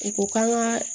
U ko k'an ka